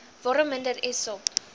waarom minister essop